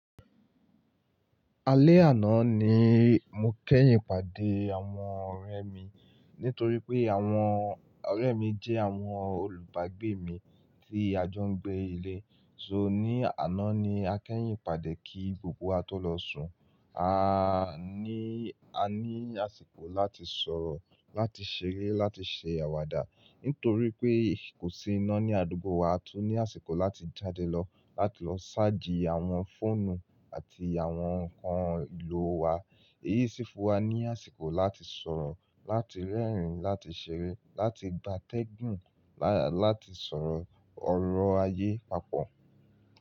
Alẹ́ àná ni mo kẹ́yìn pàdé àwọn ọ̀rẹ́ mi. Nítorí pé àwọn ọ̀rẹ́ mi jẹ́ àwọn olùbágbé mi tí a jọ ń gbé ilé. So ní àná ni a kẹ́yìn pàdé kí gbogbo wa tó lọ sùn. A ní, a ní àsìkò láti sọ̀rọ̀, láti ṣeré, láti ṣe àwàdà. Nítorí pé kò sí iná ní àdúgbò wa, a tún ní àsìkò láti jáde lọ, láti lọ ṣáàjì àwọn fóònù àti àwọn ǹkan ìlò wa. Eyí sì fún wa ní àsìkò láti sọ̀rọ̀, láti rẹ́rìn-ín, láti ṣeré, láti gba tẹ́gùn, láti sọ̀rọ̀ ọ̀rọ̀ ayé papọ̀.